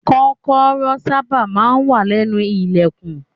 Kọ́kọ́rọ́ sábà máa ń wà lẹ́nu ilẹ̀kùn.